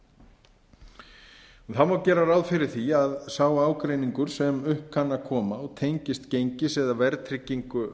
einkamála það má gera ráð fyrir því að sá ágreiningur sem upp kann að koma og tengist gengis eða verðtryggingu